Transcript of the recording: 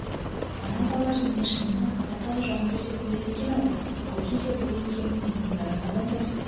мына балалар мені шынымен-ақ қатардағы жауынгер деп ойлайды екен-ау ол кезде бұл екеуін елдің бәрі майдандас